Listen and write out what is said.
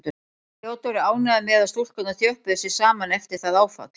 Theodór er ánægður með að stúlkurnar þjöppuðu sig saman eftir það áfall.